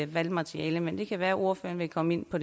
valgmateriale men det kan være ordføreren vil komme ind på